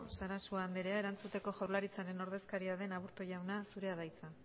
sarasua anderea erantzuteko jaurlaritzaren ordezkaria den aburto jauna zurea da hitza